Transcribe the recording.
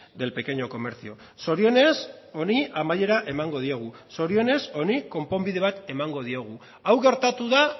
del pequeño comercio zorionez honi amaiera emango diogu zorionez honi konponbide bat emango diogu hau gertatu da